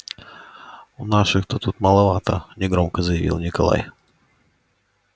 у наших то тут маловато негромко заявил николай